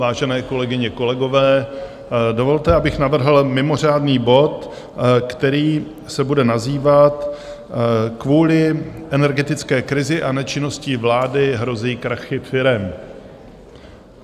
Vážené kolegyně, kolegové, dovolte, abych navrhl mimořádný bod, který se bude nazývat Kvůli energetické krizi a nečinnosti vlády hrozí krachy firem.